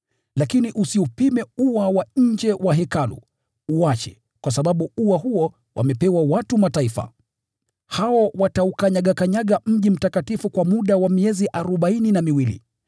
Lakini usiupime ua wa nje wa Hekalu, uache, kwa sababu ua huo wamepewa watu wa Mataifa. Hao wataukanyagakanyaga mji mtakatifu kwa muda wa miezi arobaini na miwili.